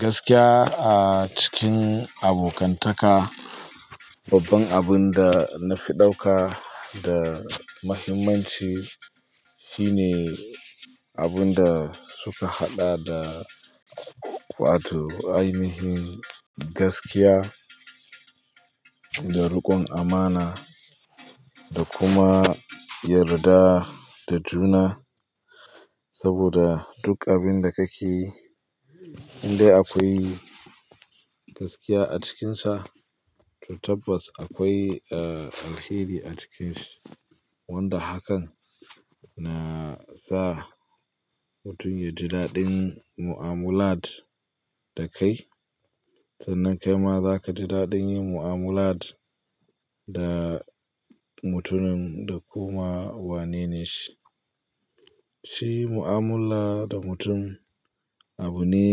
Gaskiya a cikin abokantaka, babban abin da na fi ɗauka da muhimmanci shine abun da suka had da wato ainihin gaskiya da riƙon amana da kuma yarda da juna. Saboda duk abin da kake yi, in dai akwai gaskiya a cikinsa, to tabbas akwai alheri a ciki. Wanda hakan na sa mutum ya ji daɗin mu'amulat da kai. Sannan kai ma za ka ji daɗin yin mu'amulat da mutumin da kuma wane ne shi. Shi mu'amula da mutum abu ne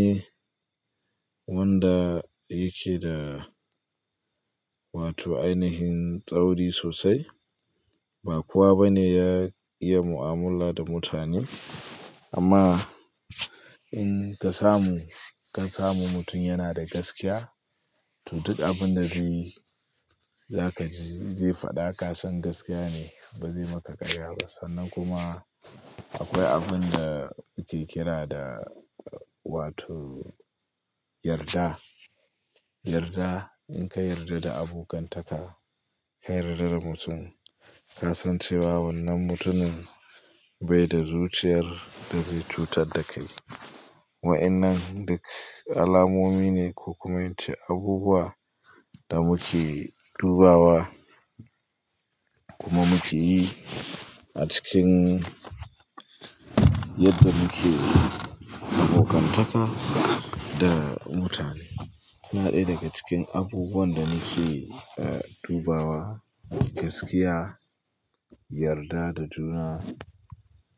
wanda yake da wato ainihin tsauri sosai. Ba kowa bane ya iya mu'amala da mutane. Amma in ka samu, ka samu mutum yana da gaskiya, to duk abin da zai yi, za ka, zai faɗa ka san gaskiya ne. Ba zai maka ƙarya ba. Sannan kuma akwai abin da muke kira da wato yarda. Yarda, in ka yarda da abokan taka ka yarda da mutum. Kasan cewa wannan mutumun bai da zuciyar irin cutar da kai. Wa'inan duk alamomi ne ko kuma ince abubuwan da muke dubawa kuma muke yi a cikin yadda muke abokantaka da mutane. Yana daya daga cikin abubuwan da muke dubawa gaskiya, yarda da juna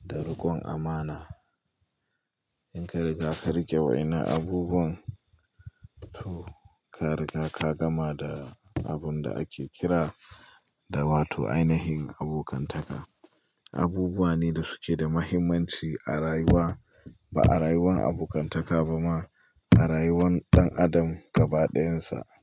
da riƙon amana. In ka riga ka riƙe waenan abubuwan, to ka riga ka gama da abin da ake kira da wato ainihin abokantaka. Abubuwa ne da suke da muhimmanci a rayuwa ba a rayuwar abokantaka ba ma, a rayuwan ɗan adam gaba ɗayansa.